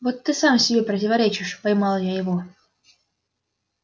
вот ты сам себе противоречишь поймала его я